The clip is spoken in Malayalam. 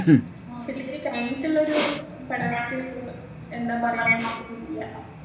degree കഴിഞ്ഞിട്ടുള്ളൊരു പഠനത്തിന് എന്താ പറയുന്നെന്ന് എനിക്കറിയില്ല